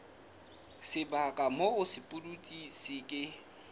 sebaka moo sepudutsi se ke